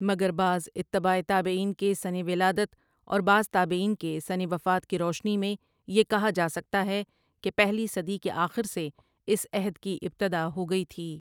مگربعض اتباع تابعین کے سنہ ولادت اور بعض تابعین کے سنہ وفات کی روشنی میں یہ کہا جاسکتا ہے کہ پہلی صدی کے آخر سے اس عہد کی ابتدا ہوگئی تھی۔